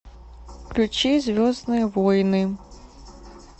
включи звездные войны